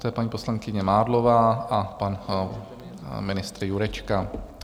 Poté paní poslankyně Mádlová a pan ministr Jurečka.